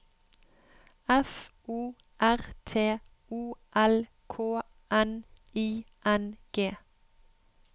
F O R T O L K N I N G